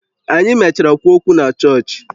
Anyị mechara kwuo okwu na chọọchị